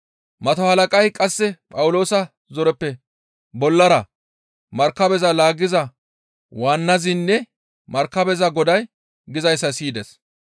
Mato halaqay qasse Phawuloosa zoreppe bollara markabeza laaggiza waannazinne markabeza goday gizayssa siyides.